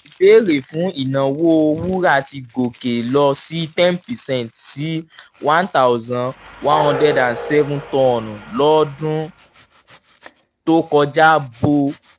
ìbéèrè fún ìnáwó wúrà ti gòkè lọ sí ten percent sí one thousand one hundred seven tọn lọ́dún tó kọjá bó